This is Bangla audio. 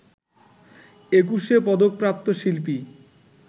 একুশে পদকপ্রাপ্ত শিল্পী